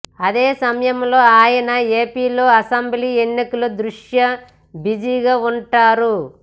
అదే సమయంలో ఆయన ఏపిలో అసెంబ్లీ ఎన్నికల దృష్ట్యా బిజీగా ఉంటారు